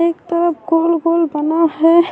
ایک طرف گول گول بنا ہے۔